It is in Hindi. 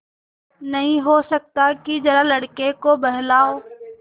नहीं हो सकता कि जरा लड़के को बहलाओ